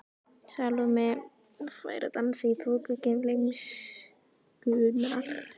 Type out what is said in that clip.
Salóme fær að dansa í þoku gleymskunnar.